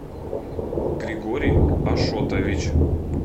григорий ашотович